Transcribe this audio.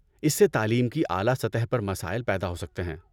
اس سے تعلیم کی اعلیٰ سطح پر مسائل پیدا ہو سکتے ہیں۔